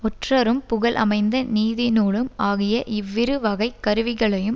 ஒற்றரும் புகழ் அமைந்த நீதிநூலும் ஆகிய இவ்விருவகைக் கருவிகளையும்